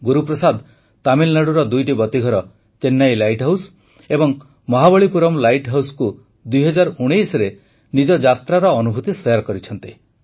ଗୁରୁପ୍ରସାଦ ତାମିଲନାଡ଼ୁର ଦୁଇଟି ବତୀଘର ଚେନ୍ନାଇ ଲାଇଟ୍ ହାଉସ୍ ଏବଂ ମହାବଲିପୁରମ୍ ଲାଇଟ୍ ହାଉସ୍କୁ ୨୦୧୯ରେ ନିଜ ଯାତ୍ରାର ଅନୁଭୂତି ଶେୟାର କରିଛନ୍ତି